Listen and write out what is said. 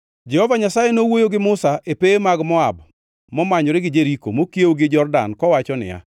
Jehova Nyasaye nowuoyo gi Musa e pewe mag Moab momanyore gi Jeriko mokiewo gi Jordan kowacho niya,